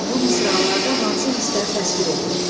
Bu misralarda hansı hisslər təsvir edilib?